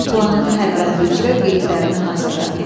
Planın hər bəndi üzrə qeydlərini hazırla.